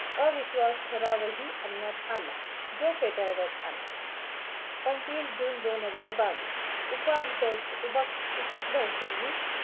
अविश्वास ठराव ही आण्यात आला, जो फेटारड्यात आला. पंचवीस जून दोन हजार बावीस उपाकधश्यानी